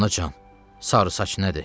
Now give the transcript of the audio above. Anacan, sarı saç nədir?